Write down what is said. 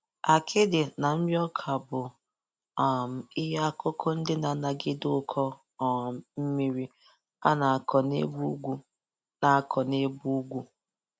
Akịdị na nri ọka bụ um ihe akụkụ ndị na-anagide ụkọ um mmiri a na-akụ n'ebe ugwu na-akụ n'ebe ugwu